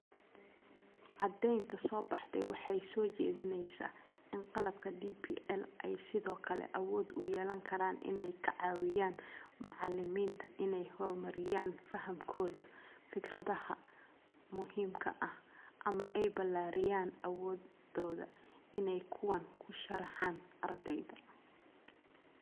Caddaynta soo baxday waxay soo jeedinaysaa in qalabka DPL ay sidoo kale awood u yeelan karaan inay ka caawiyaan macallimiinta inay horumariyaan fahamkooda fikradaha muhiimka ah, ama ay ballaariyaan awooddooda inay kuwan u sharxaan ardayda.